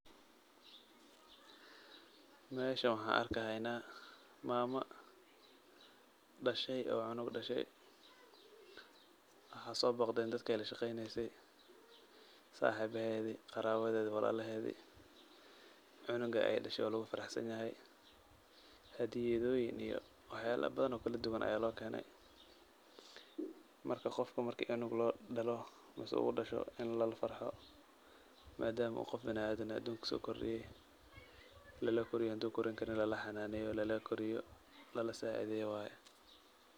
Meeshan waxaa arkahaynaa maamo dhashay oo cunug dhashay. Waxaa soobogdeen dadka ay lashaqeyneysay, saxiibaheedi, qaraabadeedi, walaalaheedi. Cunuga ay dhashya waa lugu faraxsanyahay. Hadiyadooyin iyo waxyaalo badan oo kaladuwan ayaa lookeenay. Marka qofka marka cunug loodhalo mise udhasho in lalafarxo maadaama uu qof binaadan ah aduunka kusookordhiyay, lalakoriyo haduu korin karin, lalaxanaaneyo, lalakoriyo, lalasaaideeyo waay.